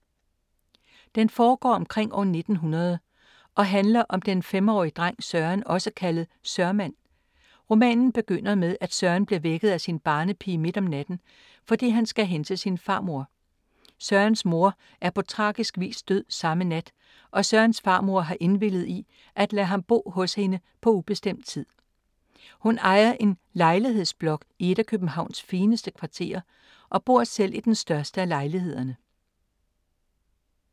Den foregår omkring år 1900 og handler om den 5-årige dreng Søren, også kaldet Sørmand. Romanen begynder med at Søren bliver vækket af sin barnepige midt om natten, fordi han skal hen til sin farmor. Sørens mor er på tragisk vis død samme nat og Sørens farmor har indvilliget i at lade ham bo hos hende på ubestemt tid. Hun ejer en lejlighedsblok i et af Københavns fineste kvarterer og bor selv i den største af lejlighederne.